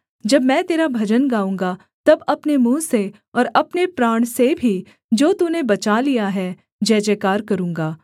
जब मैं तेरा भजन गाऊँगा तब अपने मुँह से और अपने प्राण से भी जो तूने बचा लिया है जयजयकार करूँगा